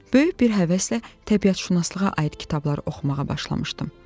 Böyük bir həvəslə təbiətşünaslığa aid kitabları oxumağa başlamışdım.